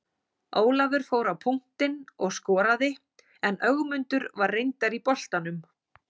Ólafur fór á punktinn og skoraði en Ögmundur var reyndar í boltanum.